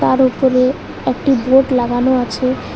তার ওপরে একটি বোর্ড লাগানো আছে।